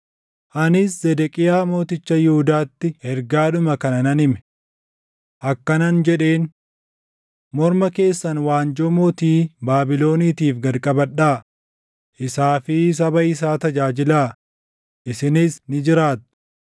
Anis Zedeqiyaa mooticha Yihuudaatti ergaadhuma kana nan hime. Akkanan jedheen; “Morma keessan waanjoo mootii Baabiloniitiif gad qabadhaa; isaa fi saba isaa tajaajilaa; isinis ni jiraattu.